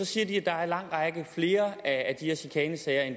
siger de at der er langt flere af de her chikanesager end